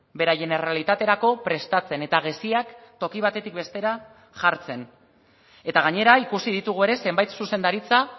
beraien errealitaterako prestatzen eta geziak toki batetik bestera jartzen eta gainera ikusi ditugu ere zenbait zuzendaritza